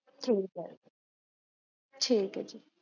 ਇਉਟੀਤ